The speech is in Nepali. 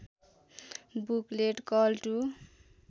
बुकलेट कल टु